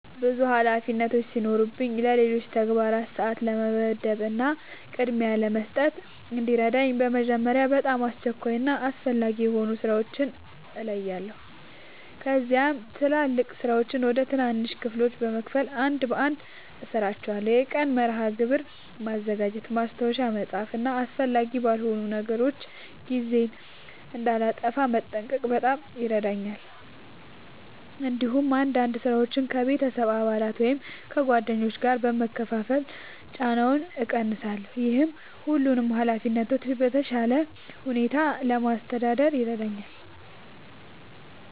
ብዙ ኃላፊነቶች ሲኖሩኝ ለሌሎች ተግባራት ሰአት ለመመደብ እና ቅድሚያ ለመስጠት እንዲረዳኝ በመጀመሪያ በጣም አስቸኳይ እና አስፈላጊ የሆኑ ሥራዎችን እለያለሁ። ከዚያም ትላልቅ ሥራዎችን ወደ ትናንሽ ክፍሎች በመከፋፈል አንድ በአንድ እሠራቸዋለሁ። የቀን መርሃ ግብር ማዘጋጀት፣ ማስታወሻ መጻፍ እና አስፈላጊ ባልሆኑ ነገሮች ጊዜ እንዳላጠፋ መጠንቀቅ በጣም ይረዳኛል። እንዲሁም አንዳንድ ሥራዎችን ከቤተሰብ አባላት ወይም ከጓደኞች ጋር በመካፈል ጫናውን እቀንሳለሁ። ይህ ሁሉንም ኃላፊነቶች በተሻለ ሁኔታ ለማስተዳደር ይረዳኛል።